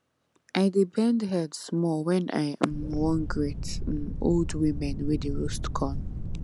i dey bend head small when i um wan greet um old women wey dey roast corn